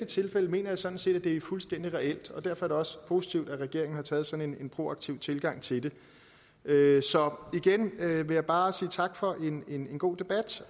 tilfælde mener jeg sådan set at det er fuldstændig reelt derfor er det også positivt at regeringen har taget sådan en proaktiv tilgang til det så igen vil jeg bare sige tak for en god debat